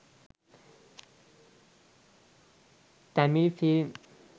tamil film